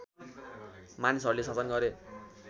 मानिसहरूले शासन गरे